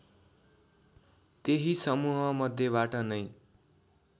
त्यही समूहमध्येबाट नै